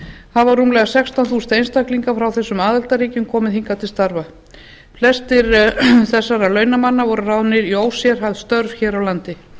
hafa rúmlega sextán þúsund einstaklingar frá þessum aðildarríkjum komið hingað til starfa flestir þessara launamanna voru ráðnir í ósérhæfð störf hér á landi